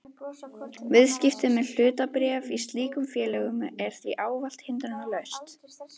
Viðskipti með hlutabréf í slíkum félögum er því ávallt hindrunarlaus.